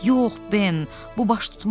"Yox, Ben, bu baş tutmaz.